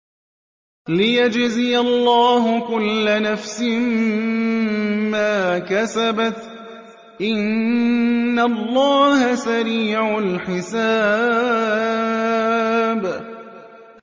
لِيَجْزِيَ اللَّهُ كُلَّ نَفْسٍ مَّا كَسَبَتْ ۚ إِنَّ اللَّهَ سَرِيعُ الْحِسَابِ